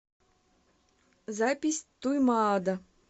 запись туймаада